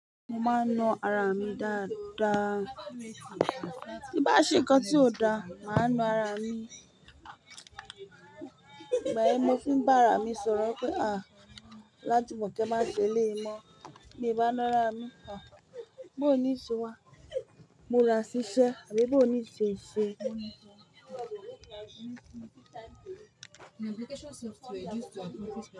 Mo máa ń na ara mi dáadáa. Bí n bá ṣe nǹkan tí ò da, mà á na ara mi. Ìgbà yen ni mo fi ń bá ara mi sọ̀rọ̀ pé, Olajumoke máa ṣe eleyi mon. Bí n bá ń na ara mi, bóo nii ṣe wa? Mura sísẹ́ àbí bó nii se ṣe?